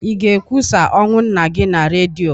Ị ga-ekwusa ọnwụ nna gị na redio?